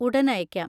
ഉടൻ അയയ്ക്കാം!